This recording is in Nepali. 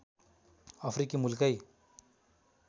अफ्रिकी मुलकै